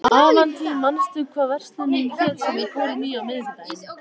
Avantí, manstu hvað verslunin hét sem við fórum í á miðvikudaginn?